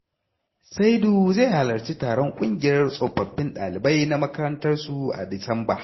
Saidu zai halarci taron ƙungiyar tsofaffin ɗalibai na makarantar su a Disamba.